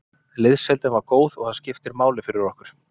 Liðsheildin var góð og það skiptir máli fyrir okkur.